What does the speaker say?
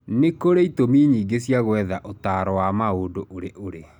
Nĩ kũrĩ itũmi nyingĩ cia gwetha ũtaro wa maũndũ ũriũrĩ.